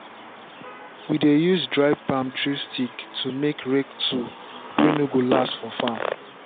we dey use dry palm tree stick to make rake tool way no go last for farm.